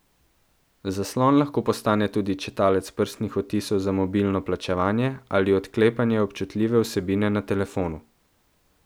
Zaslon lahko postane tudi čitalec prstnih odtisov za mobilno plačevanje ali odklepanje občutljive vsebine na telefonu.